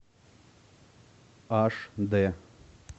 аш дэ